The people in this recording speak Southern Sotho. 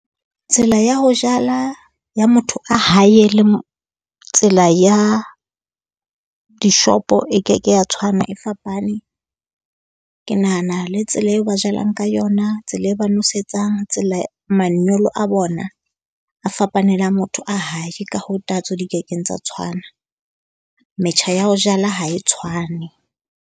Tsela ya ho jala ya motho a hae le tsela ya dishopo e keke ya tshwana, e fapane. Ke nahana le tsela eo ba jalang ka yona, tsela e ba nwesetsang, tsela manyolo a bona a fapane le a motho a hae. Ka hoo ditatso di kekeng tsa tshwana, Metjha ya ho jala ha e tshwane.